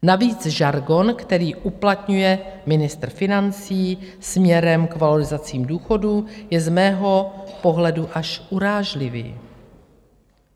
Navíc žargon, který uplatňuje ministr financí směrem k valorizacím důchodů, je z mého pohledu až urážlivý.